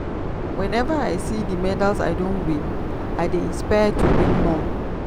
weneva i see di medals i don win i dey inspired to win more.